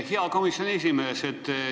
Hea komisjoni esimees!